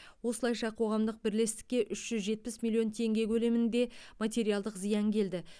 осылайша қоғамдық бірлестікке үш жүз жетпіс миллион теңге көлемінде материалдық зиян келді